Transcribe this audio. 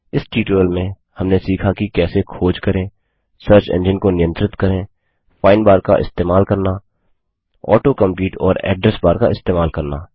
इस ट्यूटोरियल में हमने सीखा कि कैसे खोज करें सर्च एंजिन को नियंत्रित करें फाइंड बार का इस्तेमाल करना ऑटो कम्प्लीट और अड्रेस बार का इस्तेमाल करना